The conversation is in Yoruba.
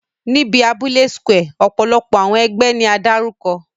Ni abule square, ọpọlọpọ awọn ẹgbẹ ni a darukọ.